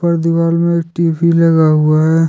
दीवार में टी_वी लगा हुआ है।